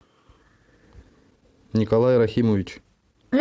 николай рахимович